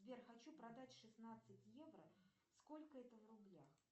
сбер хочу продать шестнадцать евро сколько это в рублях